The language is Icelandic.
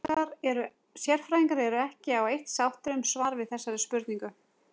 Sérfræðingar eru ekki á eitt sáttir um svar við þessari spurningu.